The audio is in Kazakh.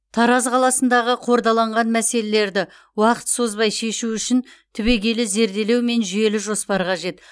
тараз қаласындағы қордаланған мәселелерді уақыт созбай шешу үшін түбегейлі зерделеу мен жүйелі жоспар қажет